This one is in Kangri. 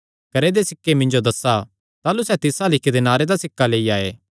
करे दे सिक्के मिन्जो दस्सा ताह़लू सैह़ तिस अल्ल इक्क दिनारे दा सिक्का लेई आये